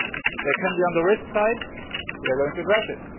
They can be on the risk side we are going to address